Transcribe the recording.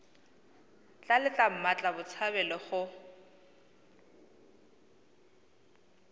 tla letla mmatla botshabelo go